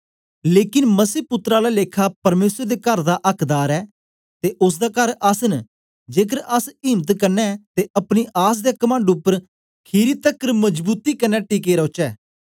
लेकन मसीह पुत्तर आला लेखा परमेसर दे कर दा आक्दार ऐ ते ओसदा कर अस एै जेकर अस इम्त कन्ने ते अपनी आस दे कमंड उपर खीरी तकर मजबूती कन्ने टिके रौचै